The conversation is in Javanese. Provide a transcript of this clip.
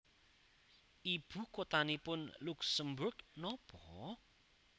Ibu kotanipun Luksemburg nopo?